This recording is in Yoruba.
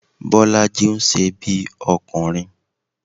Bọ́lájí ń ṣe bí ọkùnrin